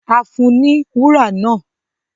A fún un ní wúrà náà